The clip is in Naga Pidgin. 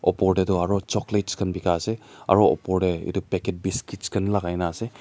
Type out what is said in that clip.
opor te tu aru chocolate khan dekha beka ase aru opor te etu package biscuit lagai kina ase.